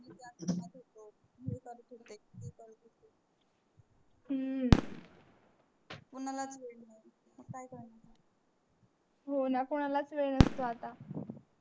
होणा कोणा कोणालाच वेळ नसतो आता.